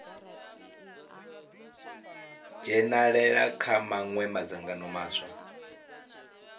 dzhenalela kha mawe madzangano maswa